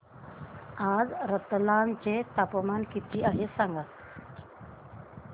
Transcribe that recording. आज रतलाम चे तापमान किती आहे सांगा